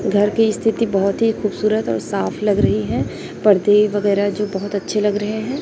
घर की स्थिति बहोत ही खूबसूरत और साफ लग रही हैं पर्दे वगैरा जो बहोत अच्छे लग रहे हैं।